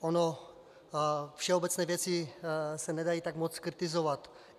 Ony všeobecné věci se nedají tak moc kritizovat.